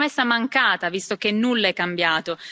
Una promessa mancata, visto che nulla è cambiato.